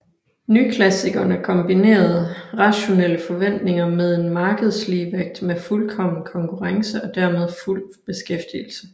Nyklassikerne kombinerede rationelle forventninger med en markedsligevægt med fuldkommen konkurrence og dermed fuld beskæftigelse